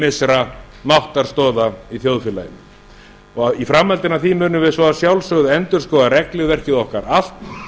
ýmissa máttarstoða í þjóðfélaginu í framhaldi af því munum við svo að sjálfsögðu endurskoða regluverkið okkar allt